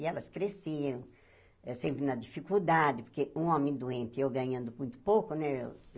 E elas cresciam, eh sempre na dificuldade, porque um homem doente e eu ganhando muito pouco, né?